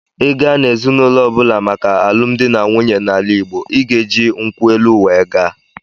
Ị gaa n'ezinaụlọ ọbụla maka alụmdi na nwunye n'ala Igbo, ị ga-eji nkwụ elụ wee gaa.